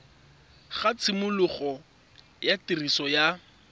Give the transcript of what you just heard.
ga tshimologo ya tiriso ya